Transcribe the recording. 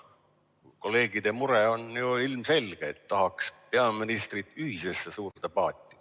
Sest kolleegide mure on ju ilmselge: tahaks peaministrit ühisesse suurde paati.